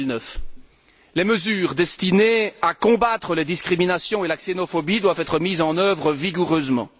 2009. Les mesures destinées à combattre les discriminations et la xénophobie doivent être mises en œuvre vigoureusement.